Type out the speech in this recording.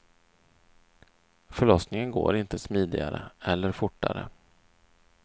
Förlossningen går inte smidigare eller fortare.